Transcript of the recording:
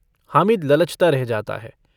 हामिद ललचता रह जाता है।